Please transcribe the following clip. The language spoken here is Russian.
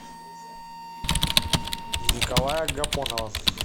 николая гапонова